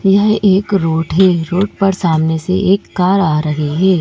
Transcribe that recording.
यह एक रोड है रोड पर सामने से एक कार आ रही है।